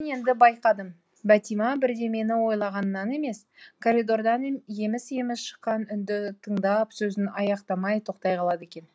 енді байқадым бәтима бірдемені ойлағаннан емес коридордан еміс еміс шыққан үнді тыңдап сөзін аяқтамай тоқтай қалады екен